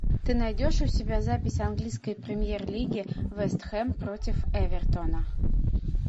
ты найдешь у себя запись английской премьер лиги вест хэм против эвертона